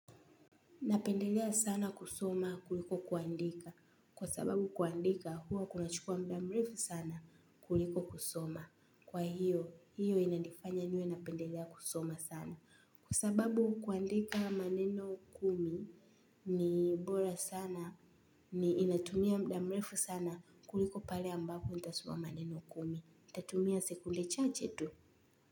Napendelea sana kusoma kuliko kuandika. Kwa sababu kuandika huwa kunachukua muda mrefu sana kuliko kusoma. Kwa hiyo, hiyo inanifanya niwe napendelea kusoma sana. Kwa sababu kuandika maneno kumi ni bora sana inatumia muda mrefu sana kuliko pale ambako nitasoma maneno kumi. Nitatumia sekunde chache tu.